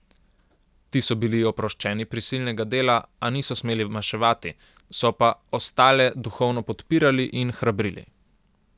Ti so bili oproščeni prisilnega dela, a niso smeli maševati, so pa ostale duhovno podpirali in hrabrili.